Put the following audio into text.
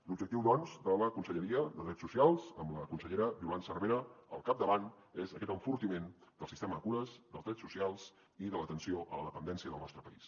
l’objectiu doncs de la conselleria de drets socials amb la consellera violant cervera al capdavant és aquest enfortiment del sistema de cures dels drets socials i de l’atenció a la dependència del nostre país